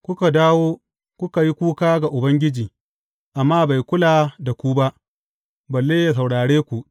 Kuka dawo, kuka yi kuka a gaban Ubangiji, amma bai kula da ku ba, balle yă saurare ku.